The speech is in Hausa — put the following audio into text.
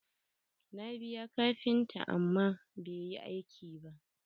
Na biya kafinta amma ba yi aiki ba.